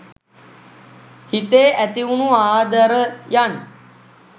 හිතේ ඇතිවුණු ආදරයන්